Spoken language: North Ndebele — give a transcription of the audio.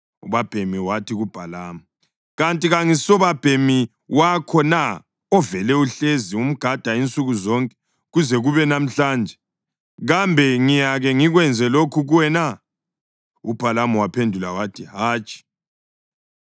Ubabhemi wathi kuBhalamu, “Kanti kangisubabhemi wakho na ovele uhlezi umgada insuku zonke kuze kube namhlanje? Kambe ngiyake ngikwenze lokhu kuwe na?” UBhalamu waphendula wathi, “Hatshi.”